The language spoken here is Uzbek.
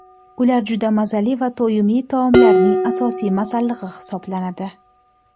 Ular juda mazali va to‘yimli taomlarning asosiy masallig‘i hisoblanadi.